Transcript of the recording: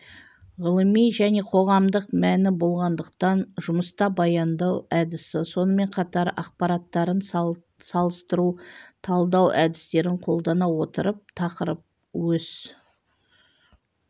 ғылыми және қоғамдық мәні болғандықтан жұмыста баяндау әдісі сонымен қатар ақпараттарын салыстыру талдау әдістерін қолдана отырып тақырып өз